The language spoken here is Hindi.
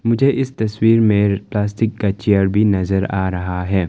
मुझे इस तस्वीर में प्लास्टिक का चेयर भी नज़र आ रहा है।